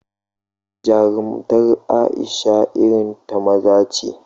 Jarumtar Aisha irin ta maza ce